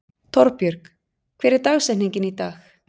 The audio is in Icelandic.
Torbjörg, hver er dagsetningin í dag?